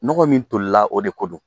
Nɔgɔ min tolila o de ko don